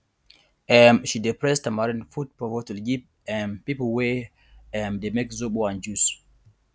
um she dey press tamarind put for bottle give um people wey um dey make zobo and juice